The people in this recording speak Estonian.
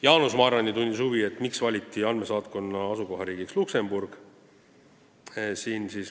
Jaanus Marrandi tundis huvi, miks valiti andmesaatkonna asukohariigiks Luksemburg.